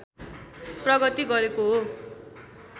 प्रगति गरेको हो